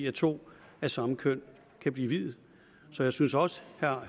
at to af samme køn kan blive viet så jeg synes også herre